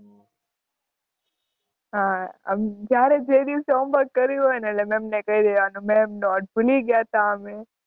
હાં આમ જ્યારે જે દિવસે homework કર્યું હોય ને એટલે ma'am ને કઈ દેવાનું ma'am નોટ ભૂલી ગયા તા અમે.